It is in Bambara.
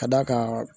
Ka d'a kan